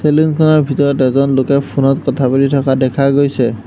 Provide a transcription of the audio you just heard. Salon খনৰ ভিতৰত এজন লোকে ফোন ত কথা পাতি থকা দেখা গৈছে।